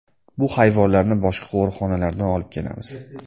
Bu hayvonlarni boshqa qo‘riqxonalardan olib kelamiz.